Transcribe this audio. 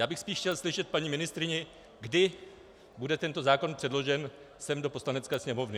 Já bych spíš chtěl slyšet paní ministryni, kdy bude tento zákon předložen sem, do Poslanecké sněmovny.